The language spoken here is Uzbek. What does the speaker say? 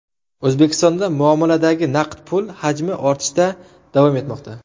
O‘zbekistonda muomaladagi naqd pul hajmi ortishda davom etmoqda.